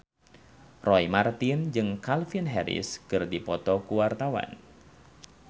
Roy Marten jeung Calvin Harris keur dipoto ku wartawan